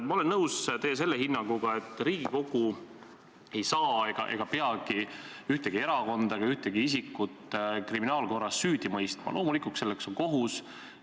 Ma olen nõus selle teie hinnanguga, et Riigikogu ei saa ega peagi ühtegi erakonda ega ühtegi isikut kriminaalkorras süüdi mõistma, loomulikult on selleks kohus.